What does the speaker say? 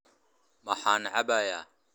Maxaan cabbayaa?